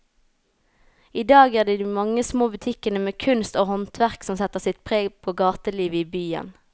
I dag er det de mange små butikkene med kunst og håndverk som setter sitt preg på gatelivet i byen.